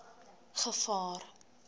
gevaar